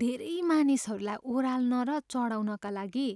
धेरै मानिसहरूलाई ओराल्न र चढाउनका लागि